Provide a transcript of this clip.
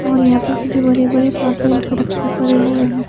और यहाँ पे कुछ बड़े बड़े कार्टूनस रक्खे पड़े हुए है।